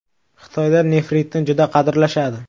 Xitoyda nefritni juda qadrlashadi.